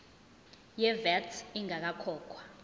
ye vat ingakakhokhwa